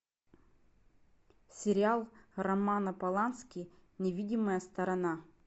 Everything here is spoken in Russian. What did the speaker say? сериал романа полански невидимая сторона